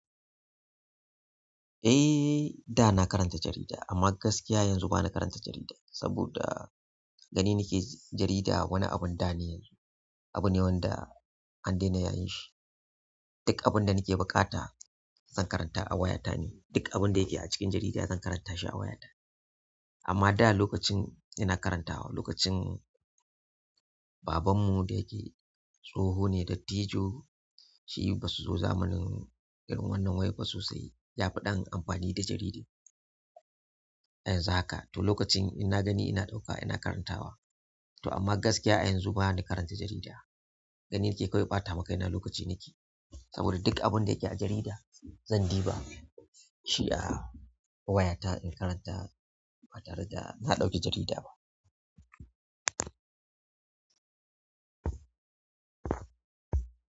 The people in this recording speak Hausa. Eh, da na karanta jarida amma gaskiya yanzu bana karanta jarida saboda gani nake jarida wani abun da ne, abune wanda an dena yayin shi duk abunda nake ɓukata zan karanta a wayata ne, duk abunda yake a cikin jarida zan karanta shi a wayata. Amma da lokacin ina karantawa, lokacin babanmu da yake tsoho ne dattijo, shi basu zo zamanin irin wannan wayar ba sosai. Yafi ɗan amfani da jarida. A yanzu haka to lokacin in na gani ina ɗauka ina karantawa. To amma gaskiya yanzu bana karanta jarida. Gani nake kawai ɓatama kaina lokaci nake, saboda duk abinda yake a jarida zan diba shi a wayata in karanta ba tare da na ɗauki jarida ba.